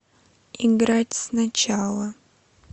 играть сначала